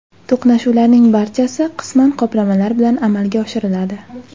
To‘qnashuvlarning barchasi qisman qoplamalar bilan amalga oshiriladi.